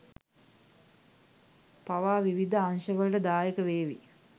පවා විවිධ අංගවලට දායකවේවි.